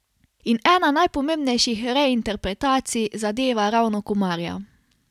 In ena najpomembnejših reinterpretacij zadeva ravno Komarja.